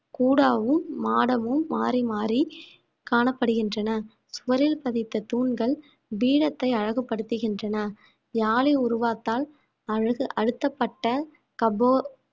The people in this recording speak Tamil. கூடாவும் மாடமும் மாறி மாறி காணப்படுகின்றன சுவரில் பதித்த தூண்கள் வீரத்தை அழகுபடுத்துகின்றன அழகு அழுத்தப்பட்ட கபோ